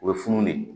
U bɛ funu de